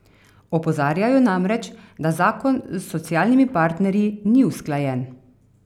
Opozarjajo namreč, da zakon z socialnimi partnerji ni usklajen.